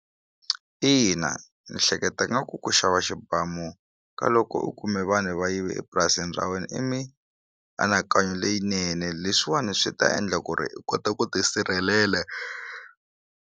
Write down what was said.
Ina ni hleketa nga ku ku xava xibamu ka loko u kume vanhu va yive epurasini ra wena i mianakanyo leyinene leswiwani swi ta endla ku ri u kota ku tisirhelela.